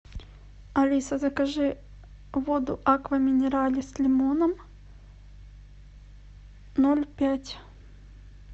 алиса закажи воду аква минерале с лимоном ноль пять